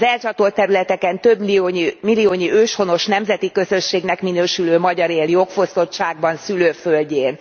Az elcsatolt területeken többmilliónyi őshonos nemzeti közösségnek minősülő magyar él jogfosztottságban szülőföldjén.